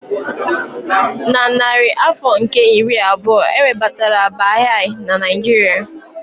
Na narị afọ nke iri abụọ, e webatara Baha'i na Nigeria.